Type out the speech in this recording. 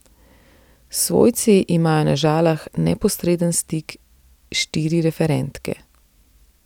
S svojci imajo na Žalah neposreden stik štiri referentke.